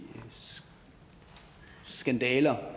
skandaler